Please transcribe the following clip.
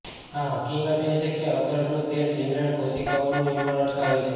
આ હકીકત એ છે કે અખરોટનું તેલ જીવલેણ કોશિકાઓનું નિર્માણ અટકાવે છે